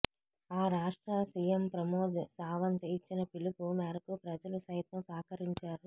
ఆ రాష్ట్ర సీఎం ప్రమోద్ సావంత్ ఇచ్చిన పిలుపు మేరకు ప్రజలు సైతం సహకరించారు